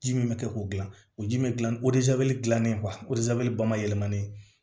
Ji min bɛ kɛ k'o dilan o ji min bɛ dilan o dilannen ba ma yɛlɛma ne